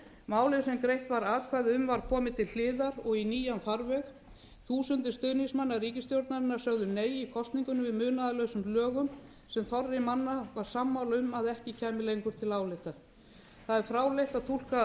málið sem greitt var atkvæði um var komið til hliðar og í nýjan farveg þúsundir stuðningsmanna ríkisstjórnarinnar sögðu nei í kosningunni við munaðarlausum lögum sem þorri manna var sammála um að ekki kæmu lengur til álita það er fráleitt að túlka